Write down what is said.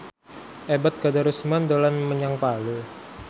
Ebet Kadarusman dolan menyang Palu